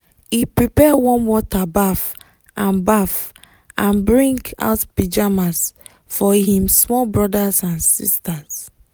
he prepare warm water baff and baff and bring out pyjamas for him small brothers and sisters.